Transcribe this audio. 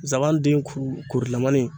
Zaban den ku korilamani